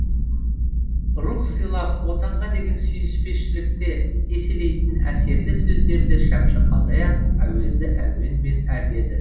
рух сыйлап отанға деген сүйіспеншілікті еселейтін әсерлі сөздерді шәмші қалдаяқов әуезді әуенмен әрледі